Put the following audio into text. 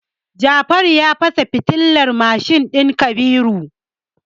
Jafaru ya fasa fitilar mashin din Kabiru.